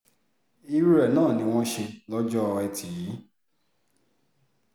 irú rẹ̀ náà ni wọ́n ṣe lọ́jọ́ etí yìí